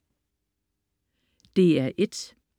DR1: